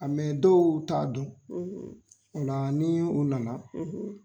Nka dɔw t'a dɔn o la ni u nana.